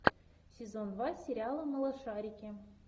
сезон два сериала малышарики